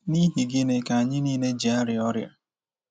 N'ihi gịnị ka anyị nile ji arịa ọrịa?